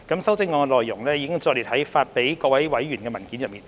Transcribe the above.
修正案的內容已載列於發給各位委員的文件內。